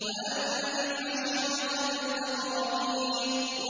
وَأَنذِرْ عَشِيرَتَكَ الْأَقْرَبِينَ